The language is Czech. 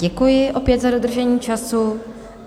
Děkuji opět za dodržení času.